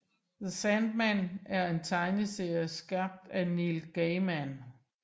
The Sandman er en tegneserie skabt af Neil Gaiman